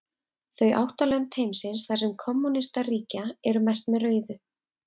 Þau átta lönd heimsins þar sem kommúnistar ríkja eru merkt með rauðu.